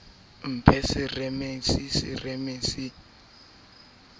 mphe semeremere le tshea ke